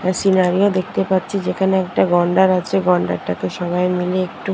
এ scenery ও দেখতে পাচ্ছি যেখানে একটা গন্ডার আছে গন্ডারটাকে সবাই মিলে একটু --